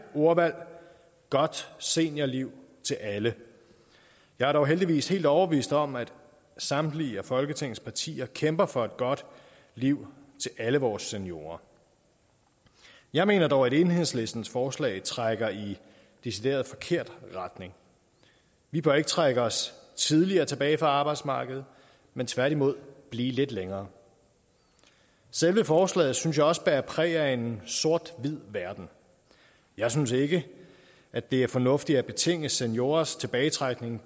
ordvalg godt seniorliv til alle jeg er dog heldigvis helt overbevist om at samtlige af folketingets partier kæmper for et godt liv til alle vores seniorer jeg mener dog at enhedslistens forslag trækker i decideret forkert retning vi bør ikke trække os tidligere tilbage fra arbejdsmarkedet men tværtimod blive lidt længere selve forslaget synes jeg også bærer præg af en sort hvid verden jeg synes ikke at det er fornuftigt at betinge seniorers tilbagetrækning